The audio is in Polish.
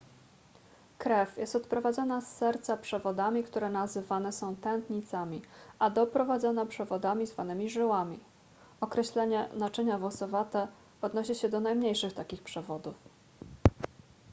krew jest odprowadzana z serca przewodami które nazywane są tętnicami a doprowadzana przewodami zwanymi żyłami określenie naczynia włosowate odnosi się do najmniejszych takich przewodów